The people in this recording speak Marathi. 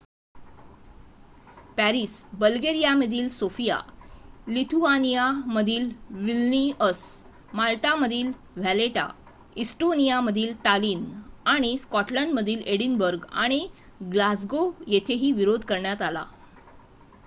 पॅरिस बल्गेरियामधील सोफिया लिथुआनियामधील विल्निअस माल्टामधील व्हॅलेटा इस्टोनियामधील टालिन आणि स्कॉटलंडमधील एडिनबर्ग आणि ग्लासगो येथेही विरोध करण्यात आला